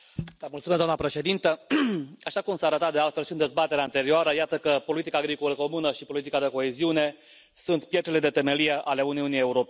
Doamnă președintă, așa cum s a arătat de altfel și în dezbaterea anterioară, iată că politica agricolă comună și politica de coeziune sunt pietrele de temelie ale Uniunii Europene.